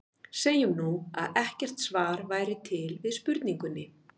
Segjum nú, að ekkert svar væri til við spurningunni.